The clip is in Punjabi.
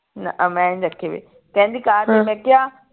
ਨਾ ਮੈਂ ਨਹੀਂ ਰੱਖੇ ਕਹਿੰਦਾ ਕਾਹਤੋਂ ਮੈਂ ਕਿਹਾ